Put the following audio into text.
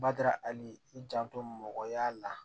Bada hali i janto mɔgɔya la